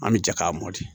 An bɛ jɛ k'a mɔ de